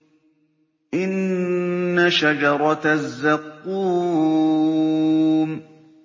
إِنَّ شَجَرَتَ الزَّقُّومِ